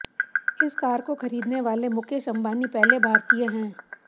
इस कार को खरीदने वाली मुकेश अंबानी पहले भारतीय है